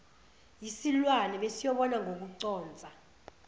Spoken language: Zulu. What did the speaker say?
yisilwane besiyobona ngokuconsa